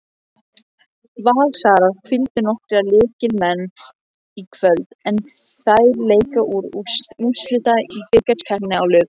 Valsarar hvíldu nokkra lykilmenn í kvöld en þær leika til úrslita í bikarkeppninni á laugardag.